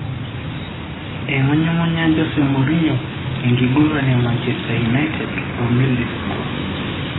Eingunyungunya Jose Mourinho enkiguran e Manchester United o Middlesbrough.